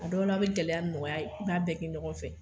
A dɔw la a be gɛlɛya ni nɔgɔya ye i b'a bɛɛ kɛ ɲɔgɔn fɛ